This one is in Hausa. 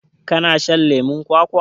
kana shan leman kwakwa